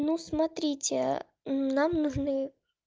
ну смотрите нам нужны